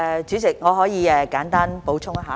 主席，我可以簡單補充。